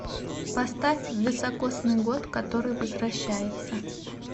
поставь високосный год который возвращается